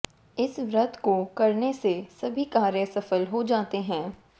इस व्रत को करने से सभी कार्य सफल हो जाते हैं